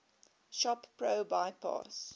shop pro bypass